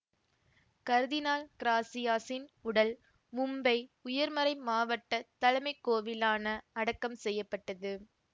கர்தினால் கிராசியாசின் உடல் மும்பை உயர்மறைமாவட்டத் தலைமைக் கோவிலான அடக்கம் செய்ய பட்டது